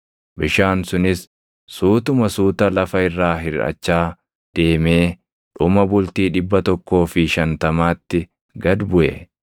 Bishaan sunis suutuma suuta lafa irraa hirʼachaa deemee dhuma bultii dhibba tokkoo fi shantamaatti gad buʼe.